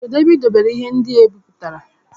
Kedu ebe ị debere ihe ndị e bipụtara?